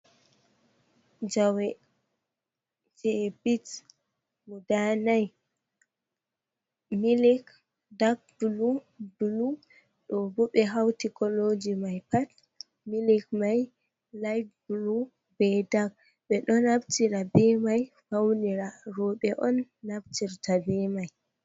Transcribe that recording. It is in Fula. Jawe, je bit guda nai, milik, dak bulu, bulu, ɗobo ɓe hauti koloji mai pat milik mai layit bulu be dak ɓeɗo naftira be mai faunira roɓe on naftirta be mai.